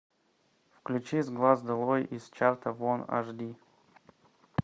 включи с глаз долой из чарта вон аш ди